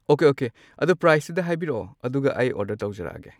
Okay okay ꯑꯗꯣ ꯄ꯭ꯔꯥꯏꯁꯇꯨꯗ ꯍꯥꯏꯕꯤꯔꯛꯑꯣ ꯑꯗꯨꯒ ꯑꯩ ꯑꯣꯔꯗꯔ ꯇꯧꯖꯔꯛꯑꯒꯦ꯫